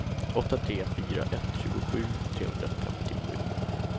åtta tre fyra ett tjugosju trehundrafemtiosju